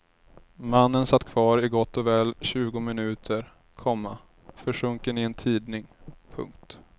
Mannen satt kvar i gott och väl tjugo minuter, komma försjunken i en tidning. punkt